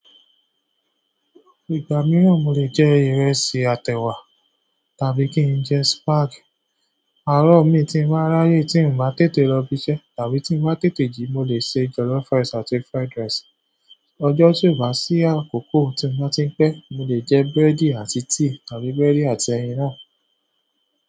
Ìgbà mìíràn mo lè jẹ ìrẹsì àtèwà tàbí kí n jẹ spaghetti. Àárọ̀ mi tí mo bàá ráyè tí mó bá tètè lọ ibiṣẹ́ tàbí tí mó tètè jí mo lè ṣe jollof rice àti fried rice. Ọjọ́ ti ó bá ṣí àkókò, tí mó tí pẹ́, mo lè jẹ búrẹ́dì àti tíì tàbí búrẹ́dì àti ẹyin náà.